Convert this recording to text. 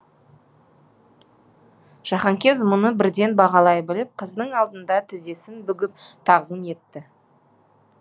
жаһанкез мұны бірден бағалай біліп қыздың алдында тізесін бүгіп тағзым етті